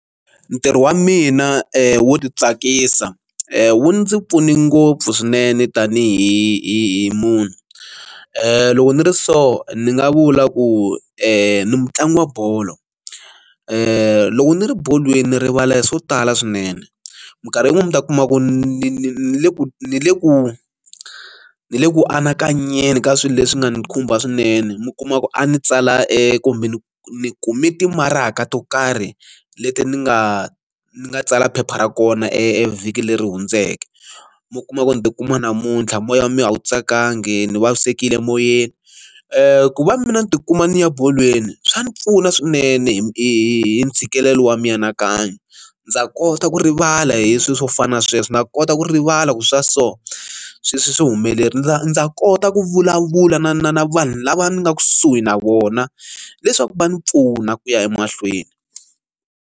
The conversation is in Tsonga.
Ntirho wa mina wo ti tsakisa wu ndzi pfune ngopfu swinene tanihi hi hi munhu loko ni ri so ni nga vula ku ni mutlangi wa bolo ku loko ni ri bolweni ni rivala hi swo tala swinene minkarhi yin'wani mi ta kuma ku ni ni ni le ku ni le ku ni le ku anakanyeni ka swilo leswi nga ni khumba swinene mi kuma ku a ni tsala e kumbe ni ni kume timaraka to karhi leti ni nga ni nga tsala phepha ra kona e vhiki leri hundzeke mi kuma ku ni tikuma namuntlha moya wa mi a wu tsakangi ni vavisekile moyeni ku va mina ni tikuma ni ya bolweni swa ni pfuna swinene hi ntshikelelo wa mianakanyo ndza kota ku rivala hi swilo swo fana na sweswo ndza kota ku rivala ku swa so sweswi hi swihi humeleri ndza ndza kota ku vulavula na na na vanhu lava nga kusuhi na vona leswaku va ndzi pfuna ku ya emahlweni.